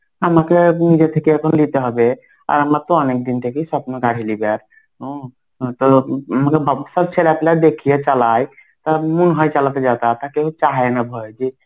আমাকে আর নিজে থেকে এখন নিতে হবে. আর আমরা তো অনেকদিন থেকেই স্বপ্ন গাড়ি লিবার. হম তো আমাকে সব ছেলেপুলা আপনারা দেখিয়ে চালায়. তা মন হয় চালাতে যাতা কেও চাহেনা ভয় এ যে,